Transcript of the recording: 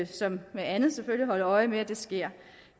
som med andet holde øje med at det sker